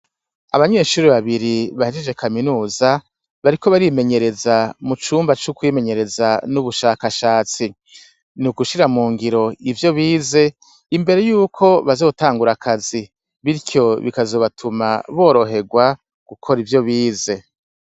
Abanyeshure babiri bahejeje Kaminuza, bariko barimenyereza mucumba co kwimenyereza n'ubushakashatsi. Ni ugushira mu ngiro ivyo bize, imbere y'uko bazotangura akazi, biryo bikazobatuma boroherwa gukora ivyo bize.